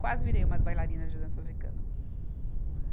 Quase virei uma bailarina de dança africana.